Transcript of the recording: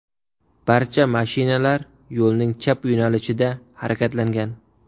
Barcha mashinalar yo‘lning chap yo‘nalishida harakatlangan.